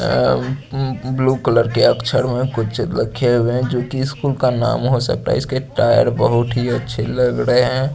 अम्म blue colour के अक्षर में कुंचन रखी हैं में जो की स्कूल का नाम हो सकता हैं इसके टायर बहु थी अच्छे लग रहे हैं।